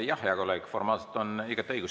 Jah, hea kolleeg, formaalselt on sul igati õigus.